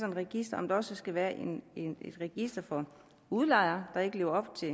et register om der også skal være et register for udlejere der ikke lever op til